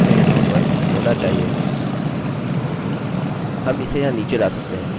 हम इसे यहाँ नीचे ला सकते हैं अतः मैं इसे अभी फिर से रन करता हूँ